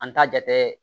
An t'a jate